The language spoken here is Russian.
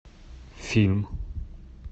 фильм